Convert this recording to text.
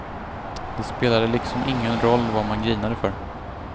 Det spelade liksom ingen roll vad man grinade för.